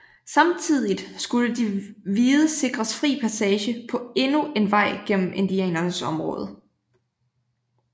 Samtidigt skulle de hvide sikres fri passage på endnu en vej gennem indianernes område